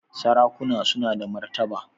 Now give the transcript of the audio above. Sarakuna suna da martaba